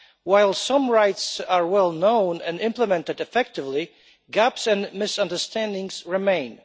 While some rights are well known and implemented effectively, gaps and misunderstandings remain.